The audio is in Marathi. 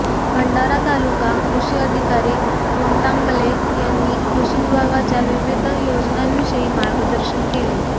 भंडारा तालुका कृषी अधिकारी कोटांगले यांनी कृषि विभागाच्या विविध योजनांविषयी मागदर्शन केले